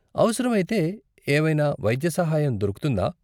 అవసరమైతే ఏవైనా వైద్య సహాయం దొరుకుతుందా?